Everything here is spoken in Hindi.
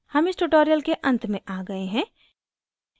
हम इस tutorial के अंत में आ गए हैं